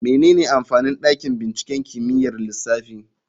Menene amfanin dakin binciken kimiyyar lissafi?